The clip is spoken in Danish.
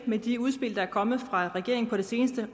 med de udspil der er kommet fra regeringen på det seneste